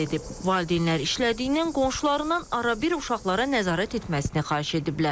Valideynlər işlədiyindən qonşularından arabir uşaqlara nəzarət etməsini xahiş ediblər.